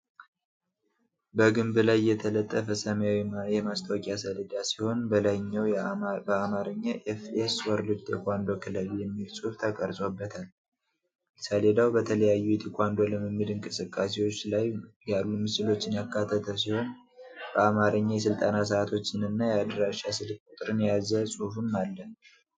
በግንብ ላይ የተለጠፈ ሰማያዊ የማስታወቂያ ሰሌዳ ሲሆን በላይኛው በአማርኛ "ኤፍ.ኤስ. ወርልድ ቴኳንዶ ክለብ" የሚል ጽሑፍ ተቀርጾበታል። ሰሌዳው በተለያዩ የቴኳንዶ ልምምድ እንቅስቃሴዎች ላይ ያሉ ምስሎችን ያካተተ ሲሆን በአማርኛ የስልጠና ሰዓቶችንና የአድራሻ ስልክ ቁጥርን የያዘ ጽሑፍም አለ።